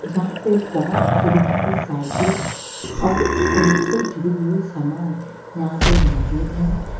जहां पे बहोत तरीके की साइकिल और उनसे जुड़ी हुई सामान यहां पे मौजूद है।